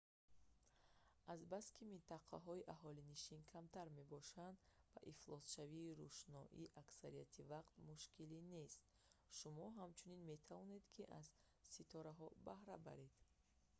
азбаски минтақаҳои аҳолинишин камтар мебошанд ва ифлосшавии рӯшноӣ аксарияти вақт мушкилӣ нест шумо ҳамчунин метавонед ки аз ситораҳо баҳра баред